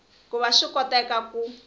ku va swi koteka ku